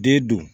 Den dun